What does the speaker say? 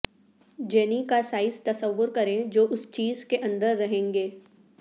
جینی کا سائز تصور کریں جو اس چیز کے اندر رہیں گے